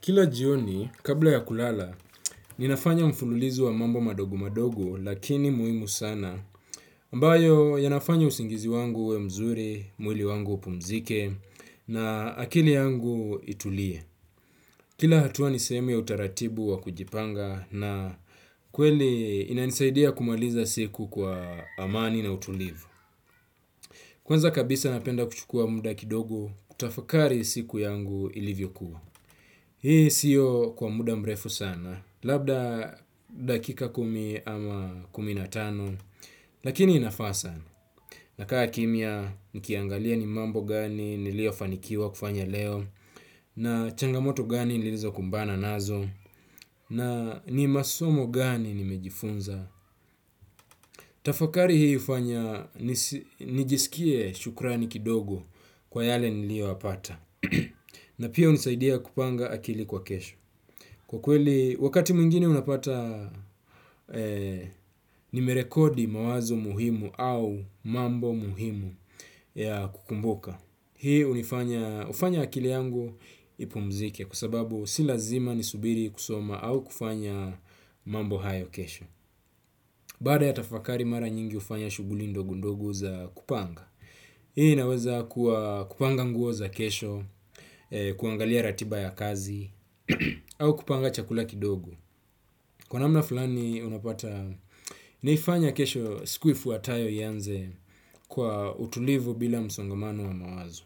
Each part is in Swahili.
Kila jioni kabla ya kulala ninafanya mfululizo wa mambo madogo madogo lakini muhimu sana. Ambayo yanafanya usingizi wangu uwe mzuri, mwili wangu upumzike na akili yangu itulie. Kila hatua nisehemu ya utaratibu wa kujipanga na kweli inanisaidia kumaliza siku kwa amani na utulivu. Kwanza kabisa napenda kuchukua muda kidogo kutafakari siku yangu ilivyokuwa. Hii sio kwa muda mrefu sana, labda dakika kumi ama kumi na tano, lakini inafaa sana. Nakaa kimya, nikiangalia ni mambo gani niliyofanikiwa kufanya leo, na changamoto gani nilizokumbana nazo, na ni masomo gani nimejifunza. Tafakari hii hufanya, nijisikie shukrani kidogo kwa yale niliyoyapata. Na pia hunisaidia kupanga akili kwa kesho. Kwa kweli wakati mwingine unapata nimerekodi mawazo muhimu au mambo muhimu ya kukumbuka. Hii hufanya akili yangu ipumzike kwa sababu si lazima ni subiri kusoma au kufanya mambo hayo kesho. Baada ya tafakari mara nyingi hufanya shughuli ndogi ndogo za kupanga. Hii inaweza kuwa kupanga nguo za kesho, kuangalia ratiba ya kazi au kupanga chakula kidogo. Kwa namna fulani unapata naifanya kesho, siku ifuatayo, ianze kwa utulivu bila msongamano wa mawazo.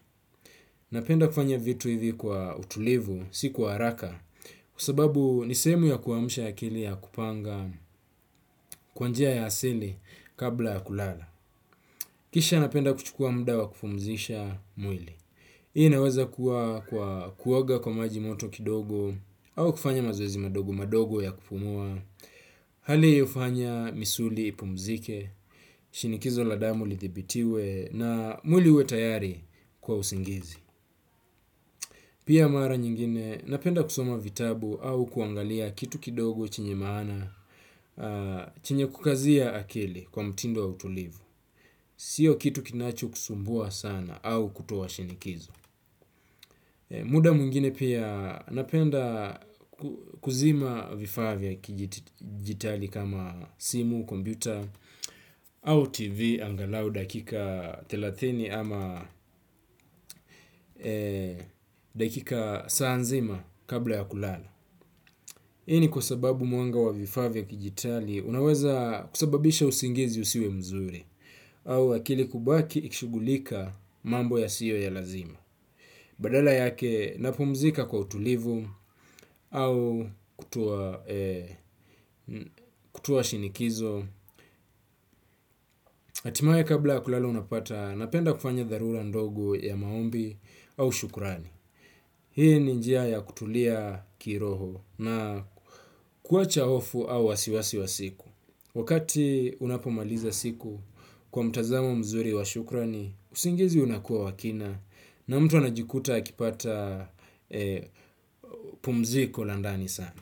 Napenda kufanya vitu hivi kwa utulivu si kwa haraka kwa sababu nisehemu ya kuamsha akili ya kupanga kwa njia ya asili kabla ya kulala. Kisha napenda kuchukua muda wa kupumzisha mwili. Hii inaweza kuwa kwa kuoga kwa maji moto kidogo au kufanya mazoezi madogo madogo ya kupumua, hali hii hufanya misuli ipumzike, shinikizo la damu lidhibitiwe, na mwili uwe tayari kwa usingizi. Pia mara nyingine, napenda kusoma vitabu au kuangalia kitu kidogo chenye maana, chenye kukazia akili kwa mtindo wa utulivu. Sio kitu kinachokusumbua sana au kutoa shinikizo. Muda mwingine pia napenda kuzima vifaa vya kidijitali kama simu, kompyuta au tv angalau dakika thelathini ama dakika, saa nzima kabla ya kulala. Hii ni kwa sababu mwanga wa vifaa vya kidijitali unaweza kusababisha usingizi usiwe mzuri au akili kubaki ikishugulika mambo yasiyo ya lazima. Badala yake napumzika kwa utulivu au kutoa shinikizo. Hatimaye kabla kulala unapata napenda kufanya dharura ndogo ya maombi au shukrani. Hii ni njia ya kutulia kiroho na kuacha hofu au wasiwasi wa siku. Wakati unapomaliza siku kwa mtazamo mzuri wa shukrani, usingizi unakuwa wa kina na mtu anajikuta akipata pumziko la ndani sana.